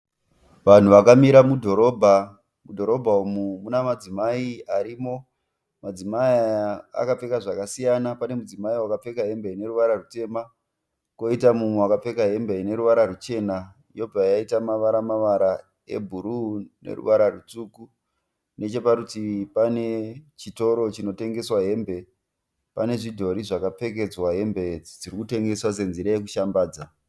Vanhu vakamira mudhorobha . Mudhorobha umu mune madzimai arimo . Madzimai aya akapfeka zvakasiyana pane mudzimai wakapfeka hembe ine ruvara rutema , koita mumwe wakapfeka hembe ineruvara ruchena yobva yaita mavara mavara ebhuru neruvara rutsvuku . Necheparutivi pane chitoro chinotengeswa hembe . Pane zvidhori zvakapfekedzwa hembe idzi dzirikutengeswa senzira yekushambadzwa .